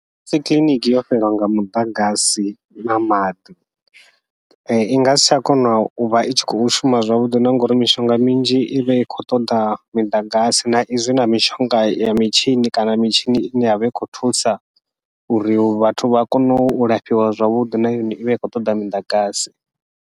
Musi kiḽiniki yo fhelelwa nga muḓagasi na maḓi i ngasi tsha kona uvha i tshi khou shuma zwavhuḓi, na ngauri mishonga minzhi ivha i khou ṱoḓa miḓagasi na izwi na mishonga ya mitshini kana mitshini ine yavha i khou thusa uri vhathu vha kone u lafhiwa zwavhuḓi na yone ivha i khou ṱoḓa miḓagasi.